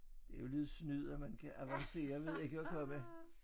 Det noget snyd at man kan avancere ved ikke at komme